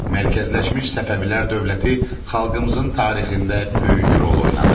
Mərkəzləşmiş Səfəvilər dövləti xalqımızın tarixində böyük rol oynadı.